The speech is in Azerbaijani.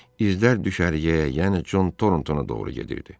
İzlər düşərgəyə, yəni Con Torontoa doğru gedirdi.